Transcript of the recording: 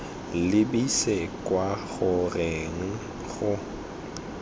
lebise kwa go reng go